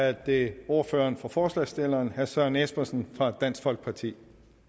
er det ordføreren for forslagsstillerne herre søren espersen fra dansk folkeparti